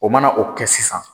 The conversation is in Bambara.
O mana o kɛ sisan